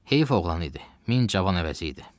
Heyf oğlan idi, min cavan əvəzi idi.